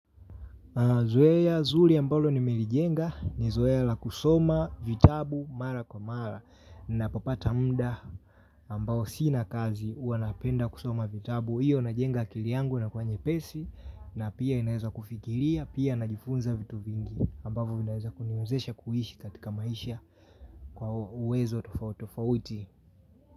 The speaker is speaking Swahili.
Zoea zuri ambalo nimelijenga ni zoea la kusoma vitabu mara kwa mara ninapopata muda ambao sina kazi huwa napenda kusoma vitabu. Iyo najenga akili yangu inakuwa nyepesi na pia inaweza kufikiria pia najifunza vitu vingi ambavyo vinaweza kuniwezesha kuishi katika maisha kwa uwezo tofauti tofauti.